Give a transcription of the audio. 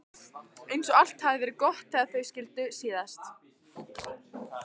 Eins og allt hafi verið gott þegar þau skildu síðast.